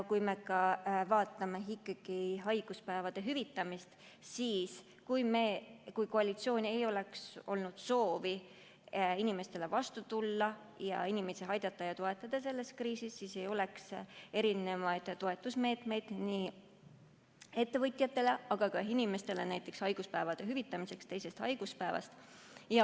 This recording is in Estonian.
Kui me vaatame ikkagi haiguspäevade hüvitamist, siis kui koalitsioonil ei oleks olnud soovi inimestele vastu tulla ja inimesi toetada selles kriisis, siis ei oleks erinevaid toetusmeetmeid nii ettevõtjatele kui ka inimestele, näiteks haiguspäevade hüvitamiseks teisest päevast.